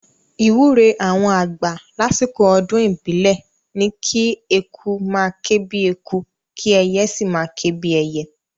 Ìwúre àwọn àgbà lásìkò ọdún ìbílẹ̀ ni kí eku máa ké bíi eku, kí ẹyẹ sì máa ké bíi ẹyẹ